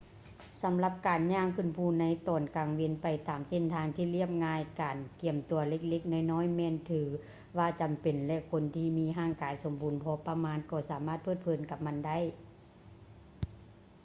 ສຳລັບການຍ່າງຂຶ້ນພູໃນຕອນກາງເວັນ ໄປຕາມເສັ້ນທາງທີ່ລຽບງ່າຍ ການກຽມຕົວເລັກໆນ້ອຍໆ ແມ່ນຖືວ່າຈຳເປັນ ແລະ ຄົນທີ່ມີຮ່າງກາຍສົມບູນພໍປະມານກໍສາມາດເພີດເພີນກັບມັນໄດ້